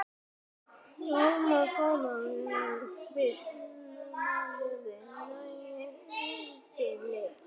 Yrði bara mold.